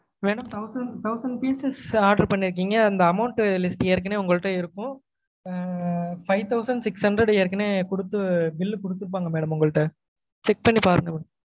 Madam thousand thousand pieces order பன்னிருக்கீங்க இந்த amount list ஏற்கனவே உங்க கிட்ட இருக்கும் ஆஹ் five thousand six hundred ஏற்கனவே குடுத்தூ bill குடுத்துருப்பாங்க madam உங்ககிட்ட check பண்ணி பாருங்க